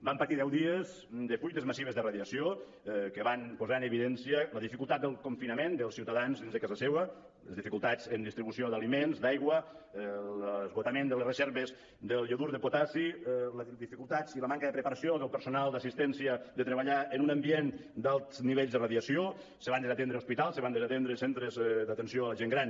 van patir deu dies de fuites massives de radiació que van posar en evidència la dificultat del confinament dels ciutadans dins de casa seva les dificultats en distribució d’aliments d’aigua l’esgotament de les reserves del iodur de potassi les dificultats i la manca del preparació del personal d’assistència de treballar en un ambient d’alts nivells de radiació se van desatendre hospitals se van desatendre centres d’atenció a la gent gran